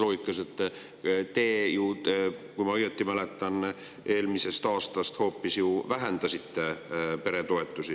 Loogika on selles, et te ju – kui ma õieti mäletan – hoopis vähendasite alates eelmisest aastast peretoetusi.